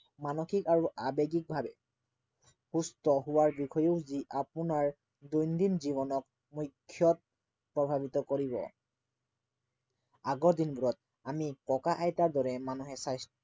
মানসিক আৰু আৱেগিকভাৱে সুস্থ হোৱাৰ বিষয়ে যি আপোনাৰ দৈনন্দিন জীৱনক মুখ্য়ত প্ৰভাৱিত কৰিব আগৰ দিনবোৰত আমি ককা আইতাৰ দৰে মানুহে স্বাস্থ্য়